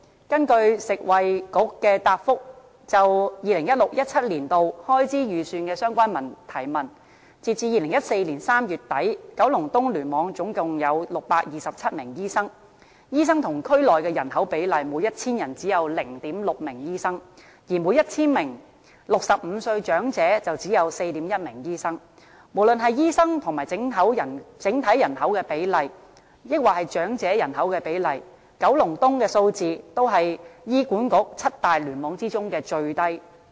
根據食物及衞生局答覆議員就 2016-2017 年度開支預算的相關提問，截至2014年3月底，九龍東聯網總共有627名醫生，醫生與區內的人口比例，每 1,000 人只有 0.6 名醫生，而每 1,000 名65歲長者只有 4.1 名醫生，無論是醫生與整體人口的比例，還是與長者人口的比例，九龍東的數字都是醫管局七大聯網中最低的。